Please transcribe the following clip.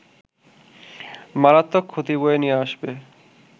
মারাত্মক ক্ষতি বয়ে নিয়ে আসবে